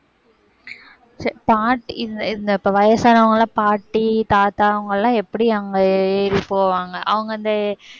பாட்~ இந்த இந்த இப்ப வயசானவங்க எல்லாம் பாட்டி, தாத்தா அவங்க எல்லாம் எப்படி அங்க ஏறி போவாங்க?